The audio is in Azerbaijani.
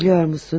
Bilirsənmi?